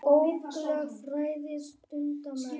Bókleg fræði stunda menn.